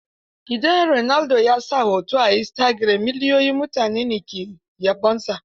Idan Ronaldo ya sa hoto a istagiram, miliyoyin mutane ne ke yabonsa.